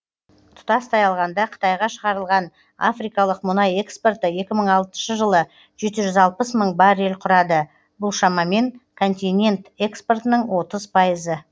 тұтастай алғанда қытайға шығарылған африкалық мұнай экспорты екі мың алтыншы жылы жеті жүз алпыс мың баррель құрады бұл шамамен континент экспортының отыз пайызы